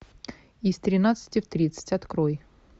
из тринадцати в тридцать открой